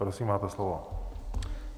Prosím, máte slovo.